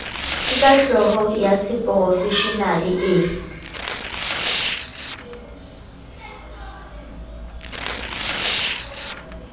ka kahlolo ya seporofeshenale e